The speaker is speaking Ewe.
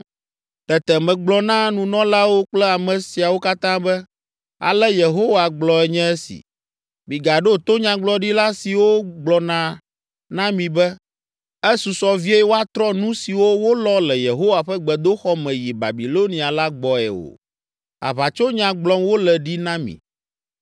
Tete megblɔ na nunɔlawo kple ame siawo katã be, “Ale Yehowa gblɔe nye esi: Migaɖo to nyagblɔɖila siwo gblɔna na mi be, ‘Esusɔ vie woatrɔ nu siwo wolɔ le Yehowa ƒe gbedoxɔ me yi Babilonia la gbɔe’ o. Aʋatsonya gblɔm wole ɖi na mi.